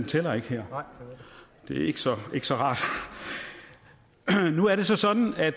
tæller ikke her det er ikke så rart nu er det så sådan at